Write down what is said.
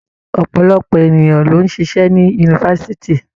Ọ̀pọ̀lọpọ̀ ènìyàn ló ń ṣịṣẹ́ ní Yunifásitì.